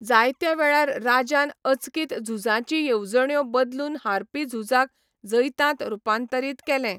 जायत्या वेळार राजान अचकीत झुजाचीं येवजण्यो बदलून हारपी झुजाक जैतांत रुपांतरीत केले.